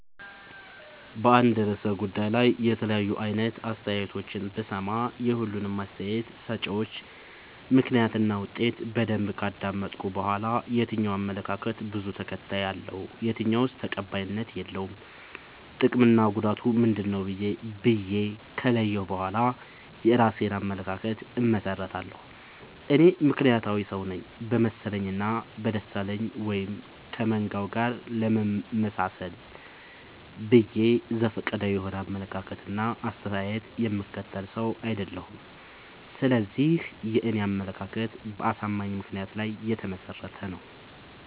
በአንድ እርሰ ጉዳይ ላይ የተለያዩ አይነት አስተያየቶችን ብሰማ። የሁሉንም አስታየት ሰጭወች ምክንያት እና ውጤት በደንብ ካዳመጥኩ በኋላ። የትኛው አመለካከት በዙ ተከታይ አለው። የትኛውስ ተቀባይነት የለውም ጥቅምና ጉዳቱ ምንድ ነው ብዬ ከለየሁ በኋላ የእራሴን አመለካከት አመሠርታለሁ። እኔ ምክንያታዊ ሰውነኝ በመሰለኝ እና በደሳለኝ ወይም ከመንጋው ጋር ለመመጣሰል ብዬ ዘፈቀዳዊ የሆነ አመለካከት እና አስተያየት የምከተል ሰው። አይደለሁም ስለዚህ የኔ አመለካከት በአሳማኝ ምክንያት ላይ የተመሰረተ ነው።